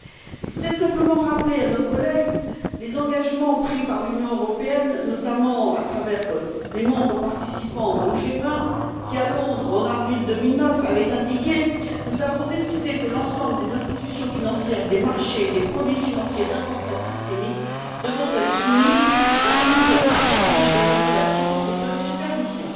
Je voudrais simplement rappeler à nos collègues les engagements pris par l'Union européenne, notamment à travers les membres participant au G20, qui, à Londres, en avril 2009, avaient indiqué Nous avons décidé que l'ensemble des institutions financières, des marchés et des produits financiers d'importance systémique devront être soumis à un niveau approprié de régulation et de supervision.